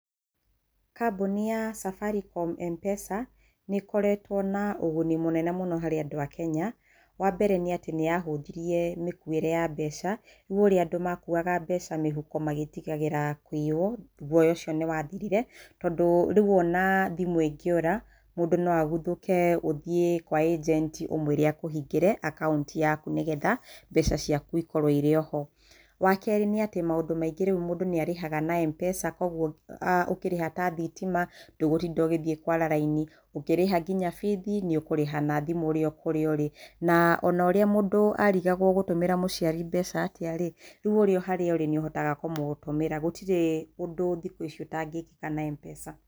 Kambuni ya Safaricom M-Pesa nĩ ĩkoretwo na ũguni mũnene mũno harĩ andũ a Kenya. Wa mbere nĩ atĩ nĩ yahũthirie mĩkuĩre ya mbeca. Rĩu ũrĩa andũ makuaga mbeca mĩhuko magĩĩtigagĩra kũiywo, guoya ũcio nĩ wathirire, tondũ rĩu o na thimũ ĩngĩũra, mũndũ no aguthũke, ũthiĩ kwa anjenti ũmwĩre akũhingĩre akaũnti yaku nĩgetha mbeca ciaku ikorwo irĩ o ho. Wa kerĩ nĩ atĩ maũndũ maingĩ rĩu mũndũ nĩ arĩhaga na M-Pesa, kwoguo ũkĩrĩha ta thitima, ndũgũtinda ũgĩthiĩ kũara raini. Ũkĩrĩha nginya bithi, nĩ ũkũrĩha nginya na thimũ ũrĩ o kurĩ ũrĩ. Na o na ũrĩa mundũ arigagwo ũgũtũmĩra mũciari mbeca atĩa rĩ, rĩu o harĩa ũrĩ nĩ ũhotaga kũmũtũmĩra. Gũtirĩ undũ thikũ ici ũtangĩĩkĩka na M-Pesa.